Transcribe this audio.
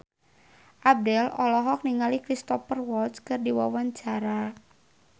Abdel olohok ningali Cristhoper Waltz keur diwawancara